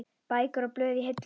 Bækur og blöð í hillum.